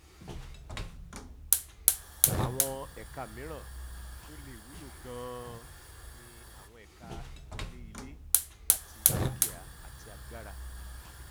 àwọn ẹka mìíràn tó lè wúlò ganan ni àwọn ẹka ìkọlé ilé àti dúkìá àti agbára